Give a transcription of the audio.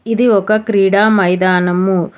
ఇది ఒక క్రీడా మైదానము.